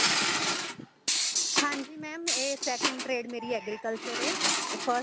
ਹਾਂਜੀ mam ਇਹ second trade ਮੈਰੀ agriculture ਏ ਤੇ first